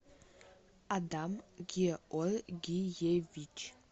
адам георгиевич